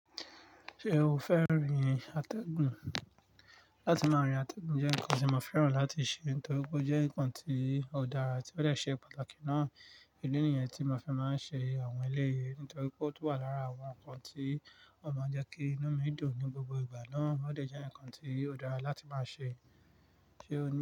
Ṣé o fẹ́ rin àtẹ̀gùn? Látí máa rin àtẹ̀gùn jẹ́ nǹkan tí mo fẹ́ràn láti ṣe, torí pé ó jẹ́ nǹkan tí ó dára àti ó dẹ̀ ṣé pàtàkì ná. Idi nìyẹn tí mo fi máa ń ṣe àwọn eleyìí, nítorí pé ó tún wà lára àwọn nǹkan tí ó máa ń jẹ́ kí inú mi dùn ní gbogbo ìgbà ná. Ó dẹ̀ jẹ́ nǹkan tí ó dára láti máa ṣe. Ṣé o ní.